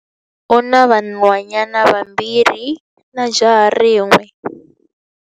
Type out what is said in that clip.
U na vanhwanyana vambirhi na jaha rin'we.